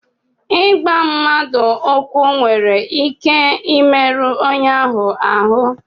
Ịgba mmadụ ụkwụ nwere ike imerụ onye ahụ ahụ